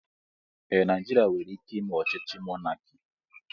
Ee, Naijiria nwere ike ime ochíchí mọnaki